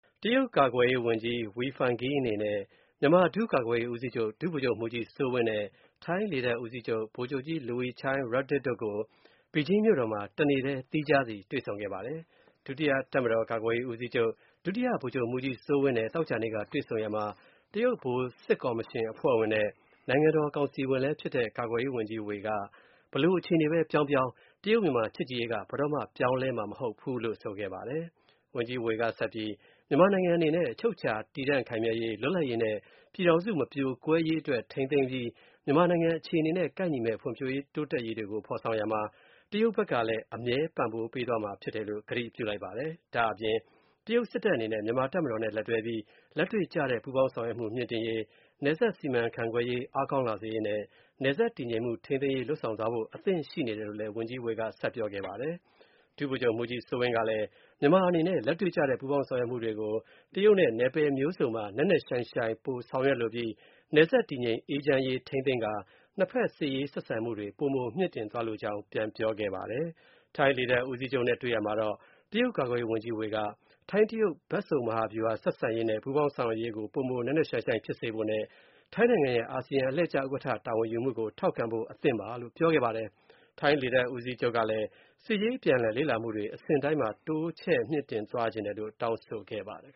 တရုတ်ကာကွယ်ရေးဝန်ကြီး Wei Fenghe အနေနဲ့ မြန်မာ ဒုကာကွယ်ရေးဦးစီးချုပ် ဒုဗိုလ်ချုပ်မှုးကြီး စိုးဝင်းနဲ့ ထိုင်းလေတပ်ဦးစီးချုပ် ဗိုလ်ချုပ်ကြီး Luechai Ruddit တို့ကို ဘီဂျင်းမြို့တော်မှာ တနေ့ထဲ သီးခြားစီ တွေ့ဆုံခဲ့ပါတယ်။ ဒုတိယ တပ်မတော်ကာကွယ်ရေးဦးစီးချုပ်၊ ဒုတိယ ဗိုလ်ချုပ်မှုးကြီး စိုးဝင်းနဲ့ သောကြောနေ့က တွေ့ဆုံရာမှာ တရုတ် ဗဟိုစစ်ကော်မရှင် အဖွဲ့ဝင်နဲ့ နိုင်ငံတော်ကောင်စီဝင်လဲဖြစ်တဲ့ ကာကွယ်ရေးဝန်ကြီး Wei က ဘယ်လိုအခြေအနေပဲ ပြောင်းပြောင်း တရုတ်-မြန်မာ ချစ်ကြည်ရေးက ဘယ်တော့မှ ပြောင်းလဲမှာမဟုတ်ဘူးလို့ ပြောဆိုခဲ့ပါတယ်။ ဝန်ကြီး Wei က မြန်မာနိုင်ငံအနေနဲ့ အချုပ်အခြာတည်တံံ့ခိုင်မြဲရေး၊ လွတ်လပ်ရေးနဲ့ ပြည်ထောင်စုမပြိုကွဲရေး အတွက်ထိန်းသိမ်းပြီး၊ မြန်မာနိုင်ငံအခြေအနေနဲ့ ကိုက်ညီမယ့် ဖွံဖြိုးတိုးတက်ရေးကိုဖော်ဆောင်ရာမှာ တရုတ်ဖက်လည်း အမြဲပံ့ပိုးပေးသွားမှာဖြစ်တယ်လို့ ကတိပြုလိုက်ပါတယ်။ ဒါ့အပြင် တရုတ် စစ်တပ်အနေနဲ့ မြန်မာတပ်မတော်နဲ့ လက်တွဲပြီး လက်တွေ့ကျတဲ့ ပူးပေါင်းဆောင်ရွက်မှု မြှင့်တင်ရေး၊ နယ်စပ်စီမံခန့်ခွဲရေး အားကောင်းလာစေရေးနဲ့၊ နယ်စပ်တည်ငြိမ်မှု ထိန်းသိမ်းရေး လုပ်ဆောင်သွားဖို့ အသင့်ရှိနေတယ်လို့လည်း ဝန်ကြီး Wai ကဆက်ပြောခဲ့ပါတယ်။ ဒုဗိုလ်ချုပ်မှုးကြီးစိုးဝင်းကလည်း မြန်မာအနေနဲ့ လက်တွေ့ကျတဲ့ ပူးပေါင်းဆောင်ရွက်မှုတွေကို နယ်ပယ်မျိုးစုံမှာ ပိုနက်နက်ရှိုင်းရှိုင်း ဆောင်ရွက်လိုပြီး နယ်စပ်တည်ငြိမ်အေးချမ်းရေးထိန်းသိမ်းကာ နှစ်ဖက်စစ်ရေးဆက်ဆံမှု ပိုမို မြှင့်တင်သွားလိုကြောင်း ပြန်ပြောခဲ့ပါတယ်။ ထိုင်း လေတပ်ဦးစီးချုပ် Luechai နဲ့တွေ့ရာမှာတော့ တရုတ် ကာကွယ်ရေးဝန်ကြီး Wei က ထိုင်း-တရုတ် ဘက်စုံမဟာဗျူဟာဆက်ဆံရေးနဲ့ ပူးပေါင်းဆောင်ရွက်ရေးကို ပိုမိုနက်နက်ရှိုင်းရှိုင်းဖြစ်စေဖို့နဲ့ ထိုင်းနိုင်ငံရဲ့ အာဆီယံ အလှည့်ကျ ဥက္ကဌတာဝန်ယူမှုကို ထောက်ခံဖို့ အသင့်ပါလို့ ပြောခဲ့ပါတယ်။ ထိုင်းလေတပ်ဦးစီးချုပ်ကလည်း စစ်ရေးအပြန်အလှန်လေ့လာမှုတွေ အဆင့်တိုင်းမှာ တိုးချဲ့မြှင့်တင်သွားဖို့ တောင်းဆိုခဲ့ပါတယ်